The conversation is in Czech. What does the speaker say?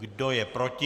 Kdo je proti?